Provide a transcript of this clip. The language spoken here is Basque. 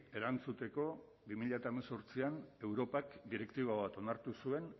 erantzuteko bi mila hemezortzian europak direktiba bat onartu zuen